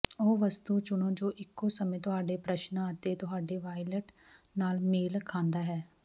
ਉਹ ਵਸਤੂ ਚੁਣੋ ਜੋ ਇੱਕੋ ਸਮੇਂ ਤੁਹਾਡੇ ਪ੍ਰਸ਼ਨਾਂ ਅਤੇ ਤੁਹਾਡੇ ਵਾਲਿਟ ਨਾਲ ਮੇਲ ਖਾਂਦਾ ਹੈ